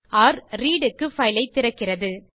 ர் - read க்கு file ஐ திறக்கிறது